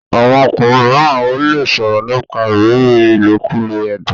àwọn ọkùnrin míràn o le sòrò nípa ìrírí ilokulo ẹdun.